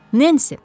Nensi!